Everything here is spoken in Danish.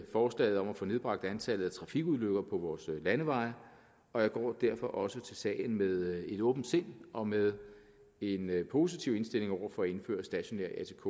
forslaget om at få nedbragt antallet af trafikulykker på vores landeveje og jeg går derfor også til sagen med et åbent sind og med en positiv indstilling over for at indføre stationær atk